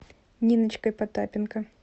ниночкой потапенко